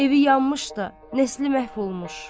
evi yanmış da, nəsli məhv olmuş.